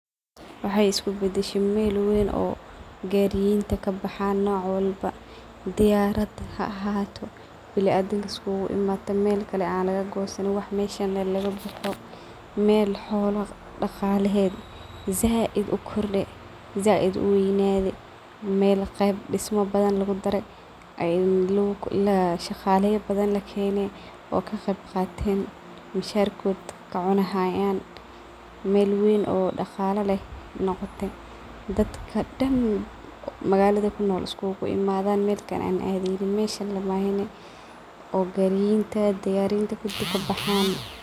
Waxay iskubadashe mel weyn oo gariyenta kabaxan noc walbo, diyarad haahato, biliadadanka isuguimaden , mel xola badhan qadala leyihin , dad badhan iskuguimadhan, daqala bahan kajiro , wax badhan lakala ibsanayo , daqala kasocdhan, isdawa mar badhan kajiran. shaqala badhan lakeni kaqeb qaten , misharkodha kaqatan , ooo gariyinta iyo diyariyinta kudi kabaxan.